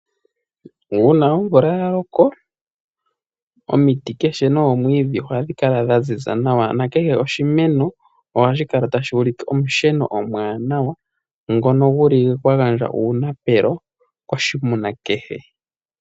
Uuna omvula yaloko omiti dhayoloka noomwidhi ohadhi kala dha ziza nawa, ano kehe oshimeno ohashi kala tashuulike omusheno omwaanawa ngono guli gwa gandja uunapelo koshinamwenyo kehe.